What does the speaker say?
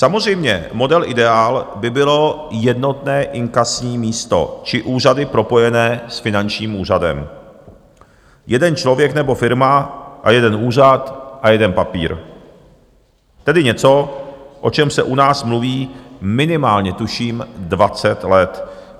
Samozřejmě, model ideál by bylo jednotné inkasní místo či úřady propojené s finančním úřadem, jeden člověk nebo firma a jeden úřad a jeden papír, tedy něco, o čem se u nás mluví minimálně tuším dvacet let.